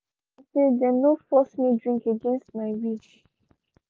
i like am say them no force me drink against my will